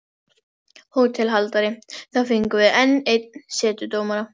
HÓTELHALDARI: Þá fengjum við enn einn setudómara.